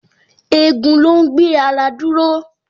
Egun ló ń gbé ara dúró